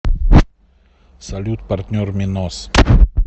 салют партнер минос